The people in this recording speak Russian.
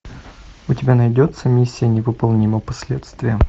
у тебя найдется миссия невыполнима последствия